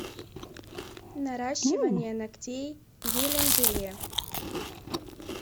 наращивание ногтей гелем желе